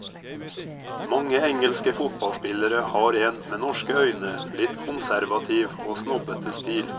Mange engelske fotballspillere har en, med norske øyne, litt konservativ og snobbete stil.